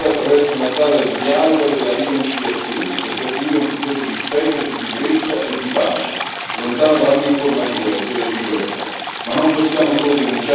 Un'intolleranza che va affrontata attraverso una strada del dialogo e della riconciliazione per costruire un futuro di rispetto, di sicurezza e di pace, lontano da ogni forma di guerra.